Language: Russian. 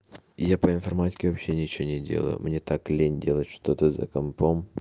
я по информатике вообще ничего не делаю мне так лень делать что-то за компом